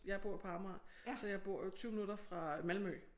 Jeg bor på Amager så jeg bor jo 20 minutter fra Malmø